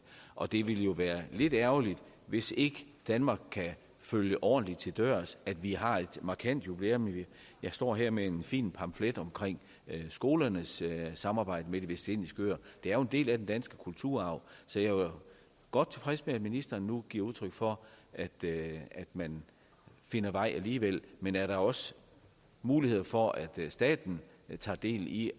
og det ville være lidt ærgerligt hvis ikke danmark kan følge det ordentligt til dørs at vi har et markant jubilæum jeg står her med en fin pamflet om skolernes samarbejde med de vestindiske øer det er jo en del af den danske kulturarv så jeg var godt tilfreds med at ministeren nu giver udtryk for at man finder vej alligevel men er der også muligheder for at staten tager del i